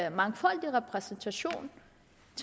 en mangfoldig repræsentation